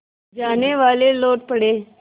जानेवाले लौट पड़े